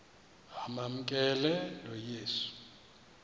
amamkela lo yesu